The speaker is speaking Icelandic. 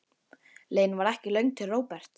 Leiðin var ekki löng til Róberts.